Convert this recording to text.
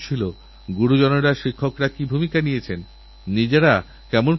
প্রিয়দেশবাসী ১৫ আগস্ট লালকেল্লার প্রাকার থেকে আমার গোটা দেশের সঙ্গে কথা বলারসৌভাগ্য হয়